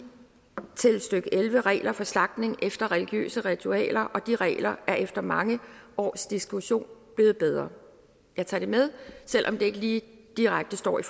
elleve regler for slagtning efter religiøse ritualer og de regler er efter mange års diskussion blevet bedre jeg tager det med selv om det ikke lige direkte står i